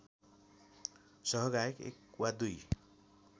सहगायक एक वा दुई